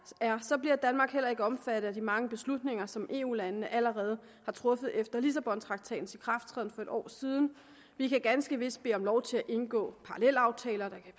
er så bliver danmark heller ikke omfattet af de mange beslutninger som eu landene allerede har truffet efter lissabontraktatens ikrafttræden for et år siden vi kan ganske vist bede om lov til at indgå parallelaftaler der kan